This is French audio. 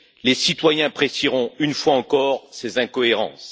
Les citoyens apprécieront, une fois encore, ses incohérences.